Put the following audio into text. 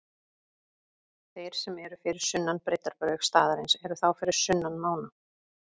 Þeir sem eru fyrir sunnan breiddarbaug staðarins eru þá fyrir sunnan mána.